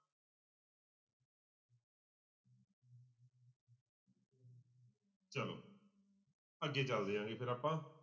ਅੱਗੇ ਚੱਲਦੇ ਹੈਗੇ ਫਿਰ ਆਪਾਂ।